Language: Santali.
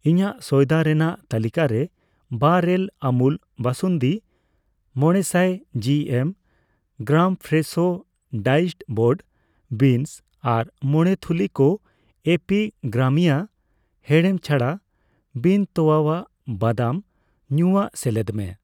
ᱤᱧᱟᱹᱜ ᱥᱚᱭᱫᱟ ᱨᱮᱱᱟᱜ ᱛᱟᱹᱞᱤᱠᱟᱨᱮ ᱵᱟᱨ ᱮᱞ ᱟᱢᱩᱞ ᱵᱟᱥᱩᱱᱫᱤ, 500 GM, gram Fresho diced broad beans ᱟᱨ ᱢᱚᱲᱮ ᱛᱷᱩᱞᱤ ᱠᱚ ᱮᱯᱤᱜᱟᱢᱤᱭᱟ ᱦᱮᱸᱲᱮᱢ ᱪᱷᱟᱲᱟ ᱵᱤᱱᱼᱛᱚᱣᱟᱭᱟᱜ ᱵᱟᱫᱟᱢ ᱧᱩᱭᱟᱜ ᱥᱮᱞᱮᱫ ᱢᱮ